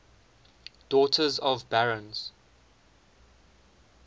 daughters of barons